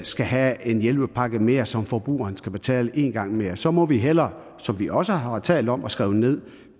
skal have en hjælpepakke mere som forbrugeren skal betale én gang mere så må vi hellere som vi også har talt om og skrevet ned